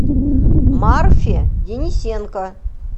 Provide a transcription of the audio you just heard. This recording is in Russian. марфе денисенко